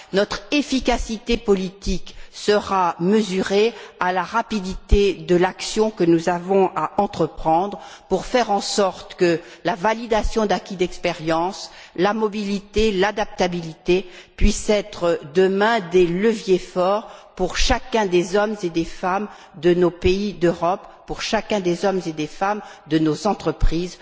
Notre efficacité politique sera mesurée à la rapidité de l'action que nous avons à entreprendre pour faire en sorte que la validation d'acquis d'expériences, la mobilité, l'adaptabilité puissent être, demain, des leviers forts pour chacun des hommes et des femmes de nos pays d'Europe, pour chacun des hommes et des femmes employés dans nos entreprises.